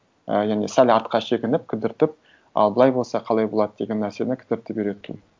ы яғни сәл артқа шегініп кідіртіп ал былай болса қалай болады деген нәрсені кідіртіп үйрету